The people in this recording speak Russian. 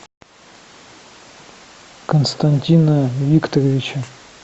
константина викторовича